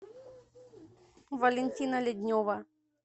валентина леднева